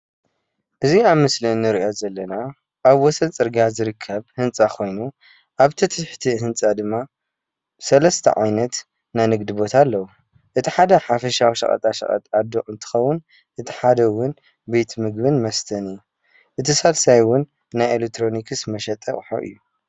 እዚ ኣብ ምስሊ እንሪኦ ዘለና ኣብ ወሰን ፅርግያ ዝርከብ ህንፃ ኮይኑ ኣብቲ ትሕቲ ህንፃ ድማ ሰለስተ ዓይነት ናይ ንግዲ ቦታ ኣለዉ፡፡ እቲ ሓደ ሓፈሻዊ ሸቐጠሸቐጥ ኣዶ እንትከዉን እቲ ሓደ እዉን ቤት ምግብን መስተን እዩ፡፡ እቲ ሳልሳይ እዉን ናይ ኤሌክትሮኒክስ መሸጢ ኣቁሑት እዩ፡፡